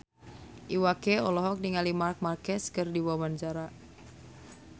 Iwa K olohok ningali Marc Marquez keur diwawancara